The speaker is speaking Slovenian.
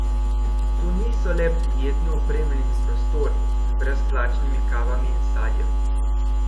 To niso le prijetno opremljeni prostori, z brezplačnimi kavami in sadjem.